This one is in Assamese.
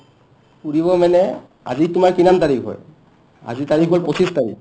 ফুৰিব মানে আজি তোমাৰ কিমান তাৰিখ হয় আজি তাৰিখ হ'ল পচিছ তাৰিখ